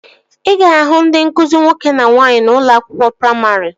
Ị ga-ahụ ndị nkụzi nwoke na nwaanyị n'ụlọ akwụkwọ praimarị